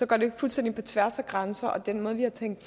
går det fuldstændig på tværs af grænser og den måde vi har tænkt